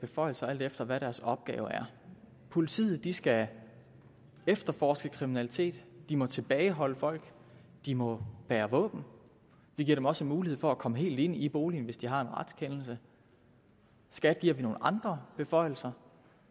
beføjelser alt efter hvad deres opgave er politiet skal efterforske kriminalitet de må tilbageholde folk de må bære våben vi giver dem også mulighed for at komme helt ind i boligen hvis de har en retskendelse skat giver vi nogle andre beføjelser